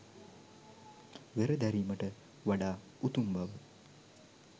වෙර දැරීමට වඩා උතුම් බව.